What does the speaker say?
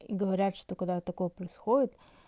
и говорят что когда такое происходит